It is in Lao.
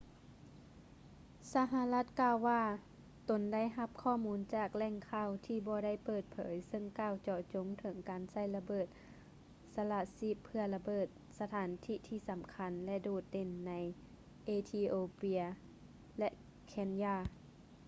ສະຫະລັດກ່າວວ່າຕົນໄດ້ຮັບຂໍ້ມູນຈາກແຫຼ່ງຂ່າວທີ່ບໍ່ໄດ້ເປີດເຜີຍເຊິ່ງກ່າວເຈາະຈົງເຖິງການໃຊ້ລະເບີດສະລະຊີບເພື່ອລະເບີດ ສະຖານທີ່ທີ່ສຳຄັນ ແລະ ໂດດເດັ່ນ ໃນເອທິໂອເປຍ ແລະ ເຄນຢາ